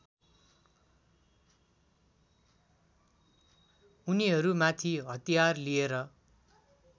उनीहरूमाथि हतियार लिएर